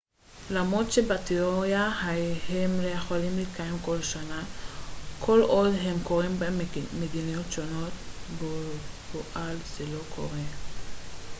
למרות שבתיאוריה הם יכולים להתקיים כל שנה כל עוד הם קורים במדינות שונות בפועל זה לא קורה